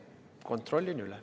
Kontrollin üle.